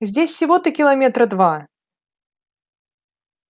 здесь всего-то километра два